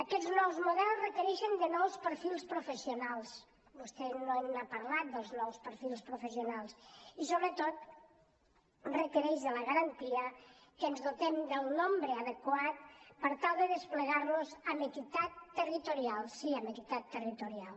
aquests nous models requereixen nous perfils professionals vostè no n’ha parlat dels nous perfils professionals i sobretot requereix la garantia que ens dotem del nombre adequat per tal de desplegar los amb equitat territorial sí amb equitat territorial